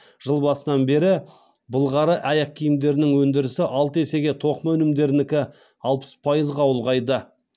жыл басынан бері былғары аяқкиімдерінің өндірісі алты есеге тоқыма өнімдерінікі алпыс пайызға ұлғайды